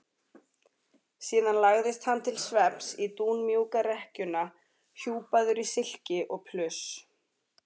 Síðan lagðist hann til svefns í dúnmjúka rekkjuna hjúpaður í silki og pluss.